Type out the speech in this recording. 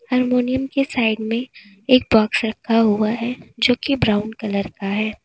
Harmonium के side में एक बॉक्स रखा हुआ है जो कि ब्राउन कलर का है।